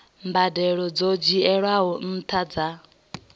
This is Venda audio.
mbadelo dzo dzhielwaho nṱha dza